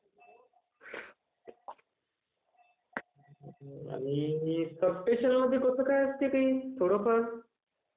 आणि सबस्टेशन असते काही...थोडंफार...